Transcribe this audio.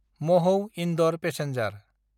महौ–इन्दर passenger